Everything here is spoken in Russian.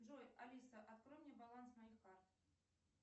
джой алиса открой мне баланс моих карт